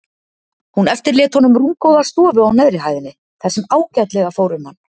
Hún eftirlét honum rúmgóða stofu á neðri hæðinni þar sem ágætlega fór um hann.